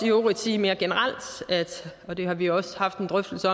øvrigt sige mere generelt og det har vi også haft en drøftelse